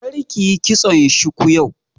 Kar kiyi kitson shuku yau!